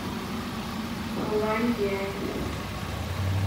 пуланьдянь